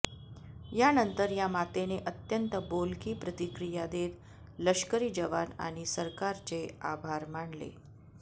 यानंतर या मातेने अंत्यंत बोलकी प्रतिक्रिया देत लष्करी जवान आणि सरकारचे आभार मानले